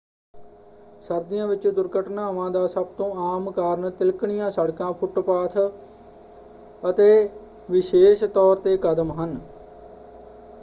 ਸਰਦੀਆਂ ਵਿੱਚ ਦੁਰਘਟਨਾਵਾਂ ਦਾ ਸਭ ਤੋਂ ਆਮ ਕਾਰਨ ਤਿਲਕਣੀਆਂ ਸੜਕਾਂ ਫੁੱਟਪਾਥ ਫੁੱਟਪਾਥ ਅਤੇ ਵਿਸ਼ੇਸ਼ ਤੌਰ 'ਤੇ ਕਦਮ ਹਨ।